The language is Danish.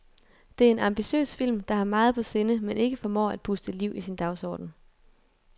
Det er en ambitiøs film, der har meget på sinde, men ikke formår at puste liv i sin dagsorden.